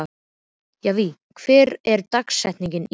Javí, hver er dagsetningin í dag?